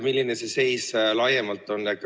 Milline see seis laiemalt on?